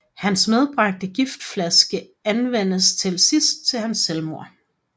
Hans medbragte giftflaske anvendes til sidst til hans selvmord